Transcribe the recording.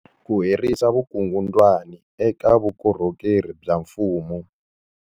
Ku herisa vukungundwani eka vukorhokeri bya mfumo.